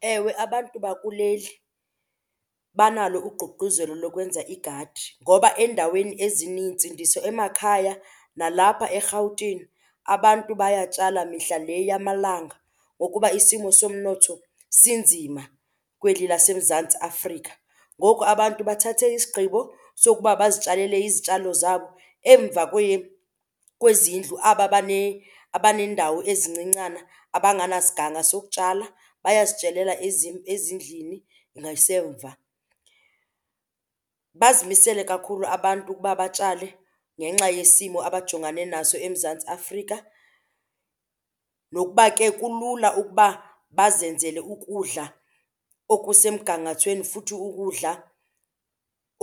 Ewe, abantu bakuleli banalo ugqugquzelo lokwenza igadi ngoba eendaweni ezinintsi nditsho emakhaya nalapha eRhawutini abantu bayatshala mihla le yamalanga ngokuba isimo somnotho sinzima kweli laseMzantsi Afrika. Ngoku abantu bathathe isigqibo sokuba bazitshalele izitshalo zabo emva kwezindlu, aba abaneendawo ezincincana abanganasiganga sokutshala bayazitshalela ezindlini ngasemva. Bazimisele kakhulu abantu ukuba batshale ngenxa yesimo abajongane naso eMzantsi Afrika nokuba ke kulula ukuba bazenzele ukudla okusemgangathweni futhi ukudla